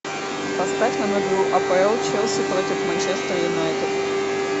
поставь нам игру апл челси против манчестер юнайтед